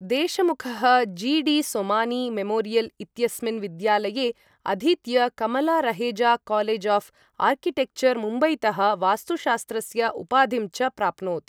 देशमुखः G D Somani Memorial इत्यस्मिन् विद्यालये अधीत्य Kamala Raheja College of Architecture मुम्बईतः वास्तुशास्त्रस्य उपाधिं च प्राप्नोत्।